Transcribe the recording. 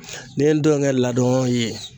Ne ye ndɔnkɛ ladon ye.